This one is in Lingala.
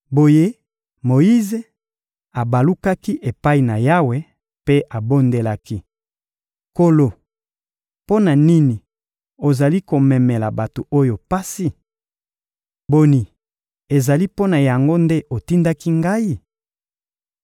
Boye Moyize abalukaki epai na Yawe mpe abondelaki: — Nkolo! Mpo na nini ozali komemela bato oyo pasi? Boni, ezali mpo na yango nde otindaki ngai?